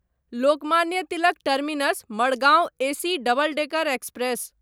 Lokmanya Tilak terminus Madgaon AC double decker express